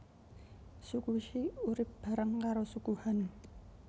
Suku She urip bareng karo Suku Han